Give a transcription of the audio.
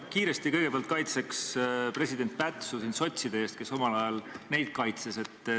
Ma kõigepealt kiiresti kaitseks sotside ees president Pätsu, kes omal ajal neid kaitses.